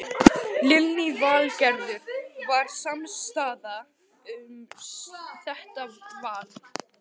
Lillý Valgerður: Var samstaða um þetta val?